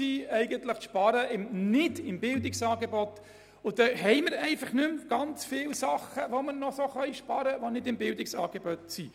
Es ist der Versuch, nicht beim Bildungsangebot zu sparen, und es gibt nicht mehr so viele Sparmöglichkeiten, die nicht beim Bildungsangebot liegen.